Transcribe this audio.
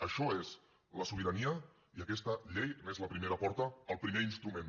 això és la sobirania i aquesta llei n’és la primera porta el primer instrument